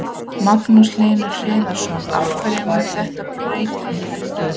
Magnús Hlynur Hreiðarsson: Hverju mun þetta breyta heldurðu?